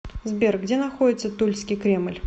сбер где находится тульский кремль